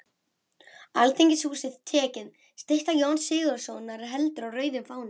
Alþingishúsið tekið, stytta Jóns Sigurðssonar heldur á rauðum fána